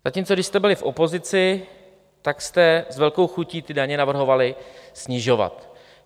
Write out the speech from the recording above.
Zatímco když jste byli v opozici, tak jste s velkou chutí ty daně navrhovali snižovat.